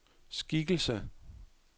skikkelse